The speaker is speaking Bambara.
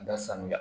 Da sanuya